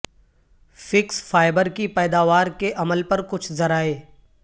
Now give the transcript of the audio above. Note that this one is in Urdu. فیکس فائبر کی پیداوار کے عمل پر کچھ ذرائع